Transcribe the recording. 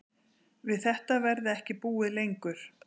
Við þetta verði ekki búið lengur